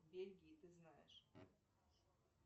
бельгии ты знаешь